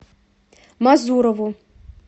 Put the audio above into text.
мазурову